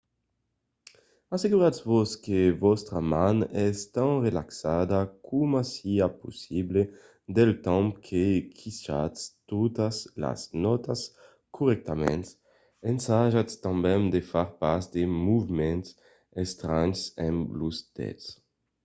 asseguratz-vos que vòstra man es tan relaxada coma siá possible del temps que quichatz totas las nòtas corrèctament - ensajatz tanben de far pas de movements estranhs amb los dets